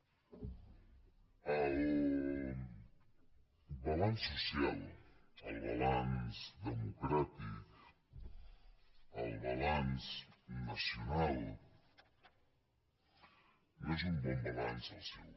el balanç social el balanç democràtic el balanç nacional no és un bon balanç el seu